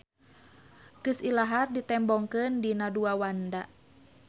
Geus ilahar ditembongkeun dina dua wanda.